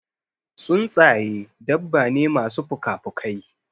Tsuntsaƴe dabba ne masu pukapukai.